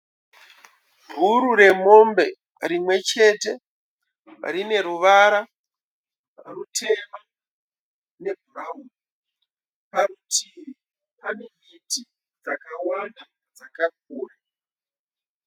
Bhuru remombe rimwechete rine ruvara rutema nebhurauni. Parutivi pane miti dzakawanda dzakakura.